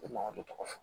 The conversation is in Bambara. O man o de tɔgɔ fɔ